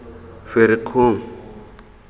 ferikgong